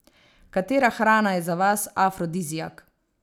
Katera hrana je za vas afrodiziak?